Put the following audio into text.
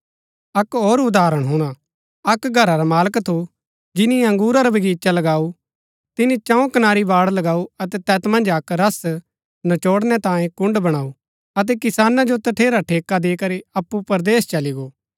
अक्क होर उदाहरण हुणा अक्क घरा रा मालक थु जिनी अंगुरा रा बगीचा लगाऊ तिनी चंऊ कनारी बाड़ लगाऊ अतै तैत मन्ज अक्क रस नचोढ़णै तांयें कुण्ड़ बणाऊ अतै किसाना जो तठेरा ठेका दी करी अप्पु परदेस चली गो